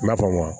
I n'a fɔ wa